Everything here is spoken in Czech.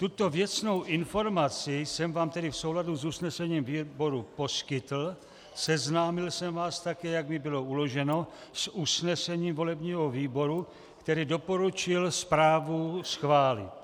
Tuto věcnou informaci jsem vám tedy v souladu s usnesením výboru poskytl, seznámil jsem vás také, jak mi bylo uloženo, s usnesením volebního výboru, který doporučil zprávu schválit.